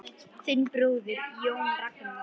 Þinn bróðir, Jón Ragnar.